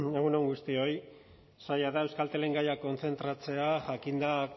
egun on guztioi zaila da euskaltelen gaia kontzentratzea jakinda